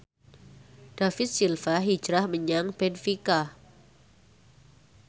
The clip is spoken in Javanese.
David Silva hijrah menyang benfica